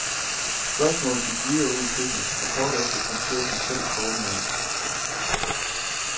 Spørgsmålet gik videre ud i køkkenet, og kort efter kom chefen selv stormende ind.